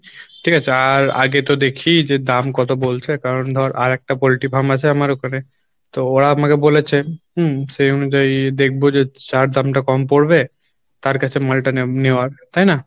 ঠিক আছে আর আগে তো দেখি যে দাম কত বলছে কারণ ধর আরেকটা পল্টি farm আছে আমার ওখানে তো ওরা আমাকে বলেছে হম সেই অনুযায়ী দেখবো যে যার দামটা কম পড়বে তার কাছে মালটা নে~নেওয়ার তাই না?